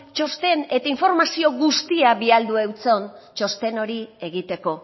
txosten eta informazio guztia bialdu eutson txosten hori egiteko